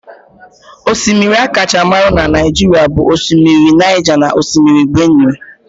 Osimiri akacha marụ na Naijiria bụ osimiri Naija na Osimiri Benue